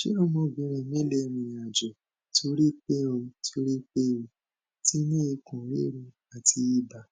ṣé ọmọbìnrin mi lè rìnrìn àjò torí pé o torí pé o ti ni ikun riru ati iba